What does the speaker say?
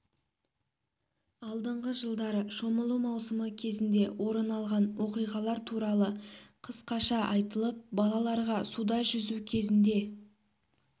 алдыңғы жылдары шомылу маусымы кезінде орын алған оқиғалар туралы қысқаша айтылып балаларға суда жүзу кезінде